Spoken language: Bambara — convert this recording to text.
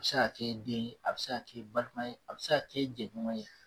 A bi se ka kɛ i den ye a bi se kɛ i balima ye a bi se ka kɛ i jɛɲɔgɔn ye